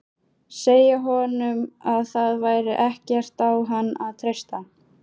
Segja honum að það væri ekkert á hann að treysta.